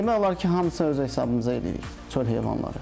Demək olar ki, hamısını öz hesabımıza eləyirik çöl heyvanları.